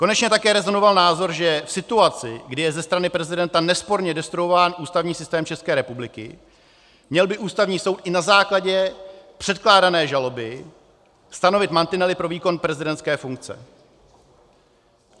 Konečně také rezonoval názor, že v situaci, kdy je ze strany prezidenta nesporně destruován ústavní systém České republiky, měl by Ústavní soud i na základě předkládané žaloby stanovit mantinely pro výkon prezidentské funkce.